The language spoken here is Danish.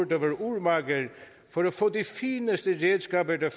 der var urmager for at få de fineste redskaber der